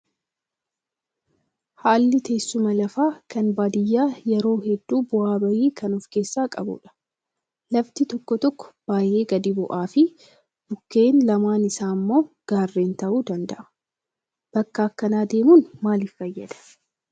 Haalli teessuma lafaa kan baadiyyaa yeroo hedduu bu'aa bahii kan of keessaa qabudha. Lafti tokko tokko baay'ee gadi bu'aa fi bukkeen lamaan isaa immoo gaarren ta'uu danda'a. Bakka akkanaa deemuun maaliif fayyada?